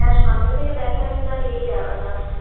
যা সামনে থেকে দেখা একটা ইয়েই আলাদা